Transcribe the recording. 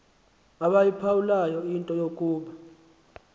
abayiphawulayo into yokuba